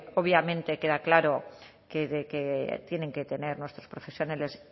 obviamente queda claro que tienen que tener nuestros profesionales